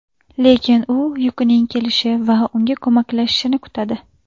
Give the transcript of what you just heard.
Lekin u Yukining kelishi va unga ko‘maklashishini kutadi.